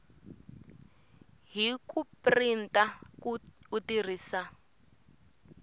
hi ku printa u tirhisa